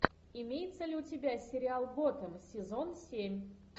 имеется ли у тебя сериал готем сезон семь